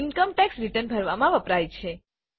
income ટેક્સનું return ભરવામાં વપરાય છે